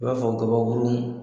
I b'a fɔ kabakuurun